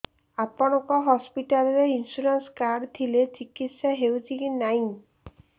ଆପଣଙ୍କ ହସ୍ପିଟାଲ ରେ insurance card ଥିଲେ ଚିକିତ୍ସା ହେଉଛି କି ନାଇଁ